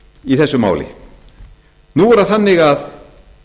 í þessu máli nú er það þannig að